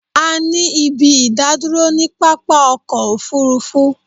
A ní ibi ìdádúró ni pápá ọkọ̀ òfurufú